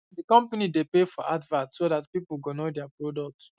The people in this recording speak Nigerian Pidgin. the company dey pay for advert so that people go know there product